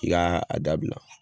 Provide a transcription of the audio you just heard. I k'a dabila.